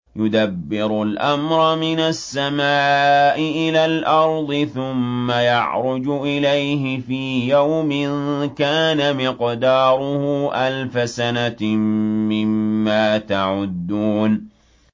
يُدَبِّرُ الْأَمْرَ مِنَ السَّمَاءِ إِلَى الْأَرْضِ ثُمَّ يَعْرُجُ إِلَيْهِ فِي يَوْمٍ كَانَ مِقْدَارُهُ أَلْفَ سَنَةٍ مِّمَّا تَعُدُّونَ